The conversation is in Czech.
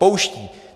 Pouští.